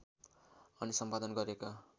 अनि सम्पादन गरेका